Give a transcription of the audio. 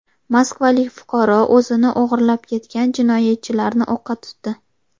Moskvalik fuqaro o‘zini o‘g‘irlab ketgan jinoyatchilarni o‘qqa tutdi.